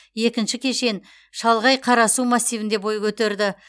екінші кешен шалғай қарасу массивінде бой көтерді